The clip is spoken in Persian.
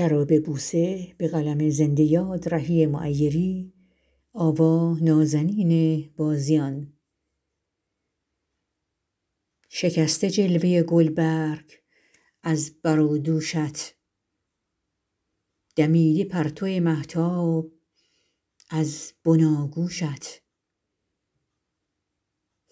شکسته جلوه گلبرگ از بر و دوشت دمیده پرتو مهتاب از بناگوشت